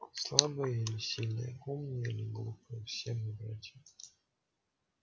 слабые или сильные умные или глупые все мы братья